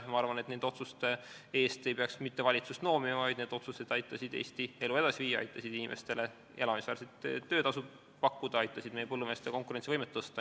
Ma arvan, et nende otsuste eest ei peaks valitsust noomima, need otsused aitasid Eesti elu edasi viia, aitasid inimestele elamisväärset töötasu pakkuda, aitasid meie põllumeeste konkurentsivõimet parandada.